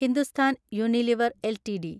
Hindustan Unilever LTD